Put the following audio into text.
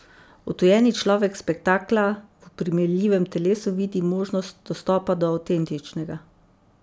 Odtujeni človek spektakla v oprijemljivem telesu vidi možnost dostopa do avtentičnega.